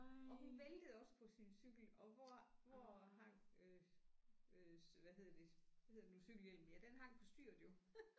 Og hun væltede også på sin cykel og hvor hvor hang øh øh hvad hedder det hvad hedder det nu cykelhjelmen ja den hang på styret jo